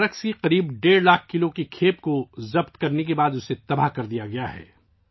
تقریباً ڈیڑھ لاکھ کلو منشیات کی کھیپ ضبط کرنے کے بعد اسے تلف کر دیا گیا ہے